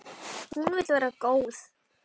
Hún vill vera góð.